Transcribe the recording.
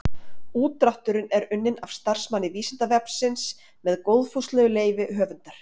Útdrátturinn er unnin af starfsmanni Vísindavefsins með góðfúslegu leyfi höfundar.